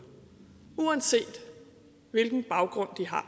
uanset hvilken baggrund de har